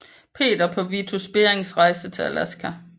Peter på Vitus Berings rejse til Alaska